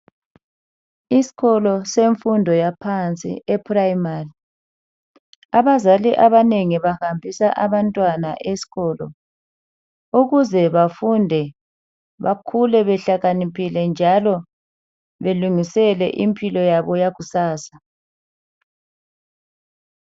Isikolo semfundo yaphansi eprimary abazali abanengi bahambisa abazali abanengi bahambisa abantwana esikolo ukuze bafunde bakhule behlakaniphile njalo belungisele impilo yabo yakusasa.